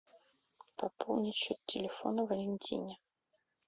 пополнить счет телефона валентине